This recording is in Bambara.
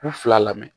K'u fila lamɛn